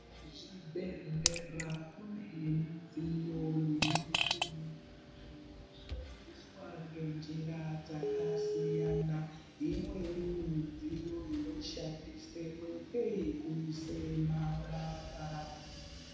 Zvibhehleya kune midziyo nemichini zvinoshandiswa ngenjira dzakasiyana imweni midziyo inoshaswemo ngeyekuisa marara